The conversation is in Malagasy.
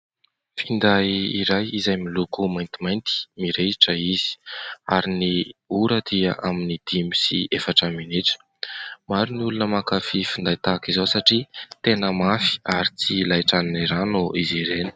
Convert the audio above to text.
Finday iray, izay miloko maintimainty, mirehitra izy ; ary ny ora dia, amin'ny dimy sy efatra minitra. Maro ny olona mankafia finday tahak'izao ; satria tena mafy, ary tsy laitran'ny rano izy ireny.